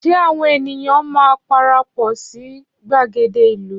Ṣé àwọn ènìyàn máa parapọ̀ sí gbàgede ìlú?